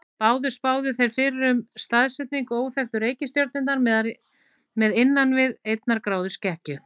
Báðir spáðu þeir fyrir um staðsetningu óþekktu reikistjörnunnar með innan við einnar gráðu skekkju.